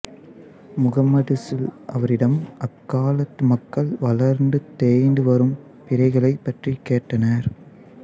முகம்மது ஸல் அவரிடம் அக்காலத்து மக்கள் வளர்ந்து தேய்ந்து வரும் பிறைகளைப் பற்றி கேட்டனர்